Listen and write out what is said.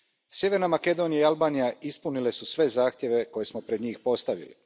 Sjeverna Makedonija i Albanija ispunile su sve zahtjeve koje smo pred njih postavili.